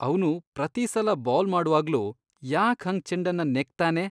ಅವ್ನು ಪ್ರತೀ ಸಲ ಬೌಲ್ ಮಾಡ್ವಾಗ್ಲೂ ಯಾಕ್ ಹಾಗ್ ಚೆಂಡನ್ನ ನೆಕ್ತಾನೆ?!